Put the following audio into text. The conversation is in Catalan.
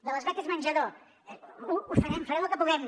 de les beques menjador ho farem farem el que puguem